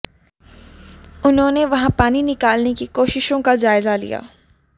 उन्होंने वहां पानी निकालने की कोशिशों का जायजा लिया